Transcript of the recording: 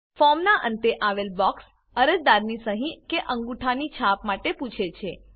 ફોર્મનાં અંતે આવેલ બોક્સ અરજદારની સહી કે અંગુઠાની છાપ માટે પૂછે છે